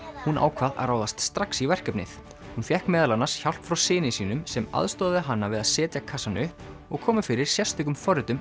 hún ákvað að ráðast strax í verkefnið hún fékk meðal annars hjálp frá syni sínum sem aðstoðaði hana við að setja kassann upp og koma fyrir sérstökum forritum